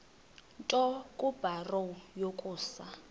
nto kubarrow yokusa